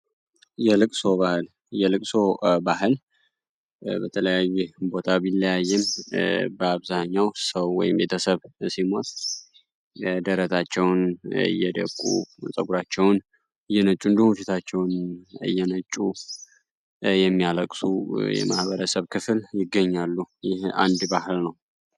የለቅሶ ባህል የለቅሶ ባህል በተለያየ ቦታ የሚለያይ ቢሆንም በአብዛኛው ሰው ወይም ቤተሰብ ሲሞት ደረታቸውን እየደቁ ጸጉራቸውን እየነጩ እንዲሁም ፊታቸውን እየነጩ የሚያለቅሱ የማህበረሰብ ክፍል ይገኛሉ ይህ አንድ ባህል ነው።